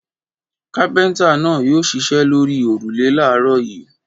Kápẹ́ńtà náà yóò ṣiṣẹ́ lórí òrùlé láàárọ̀ yìí.